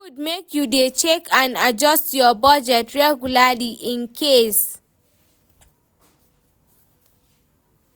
e good make you dey check and adjust your budget regularly, incase